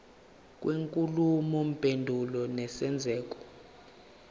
kwenkulumo mpendulwano nesenzeko